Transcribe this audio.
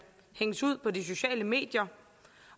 hænges ud på de sociale medier